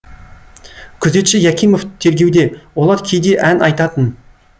күзетші якимов тергеуде олар кейде ән айтатын